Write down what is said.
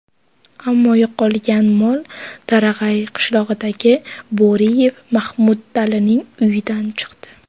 Ammo yo‘qolgan mol Tarag‘ay qishlog‘idagi Bo‘riyev Mahmadalining uyidan chiqdi.